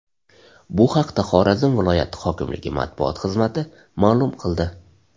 Bu haqda Xorazm viloyati hokimligi matbuot xizmati ma’lum qildi .